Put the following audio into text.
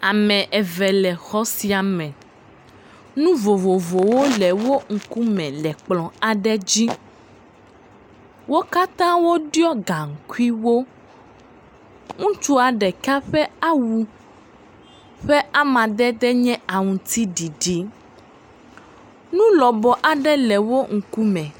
Ame eve le xɔ sia me, nu vovovovowo le wo ŋkume le kplɔ aɖe dzi, wo katã wo ɖɔ gaŋkuiwo, ŋutsua ɖeka ƒe awu ƒe amadede nye aŋutiɖiɖi, nu lɔbɔ aɖewo le woƒe ŋkume.